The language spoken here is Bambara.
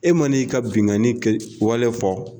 E man'i ka binnkanni kɛ wale fɔ